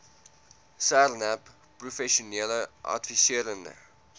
sarnap professionele adviserende